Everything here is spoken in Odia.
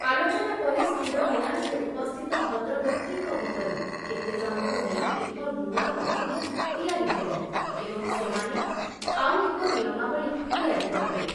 ଆଲୋଚନା ପରେ ସ୍ଥିର ହେଲା ଯେ ଉପସ୍ଥିତ ଭଦ୍ରବ୍ୟକ୍ତିଙ୍କ ଭିତରୁ କେତେଜଣଙ୍କୁ ନେଇ ଏକ ନୂଆ କମିଟି ତିଆରି ହେବ ଏବଂ ସେମାନେ ଆଉ ଏକ ନିୟମାବଳୀ ତିଆରି କରିବେ ।